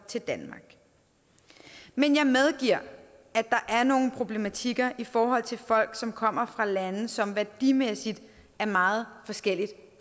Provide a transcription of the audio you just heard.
til danmark men jeg medgiver at der er nogle problematikker i forhold til folk som kommer fra lande som værdimæssigt er meget forskellige